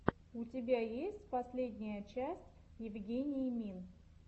у тебя есть последняя часть евгении мин